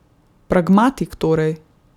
Pragmatik torej?